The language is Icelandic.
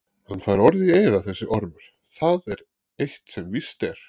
Hann fær orð í eyra þessi ormur, það er eitt sem víst er.